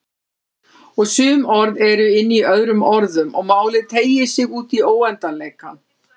Og sum orð eru inní öðrum orðum og málið teygir sig útí óendanleikann.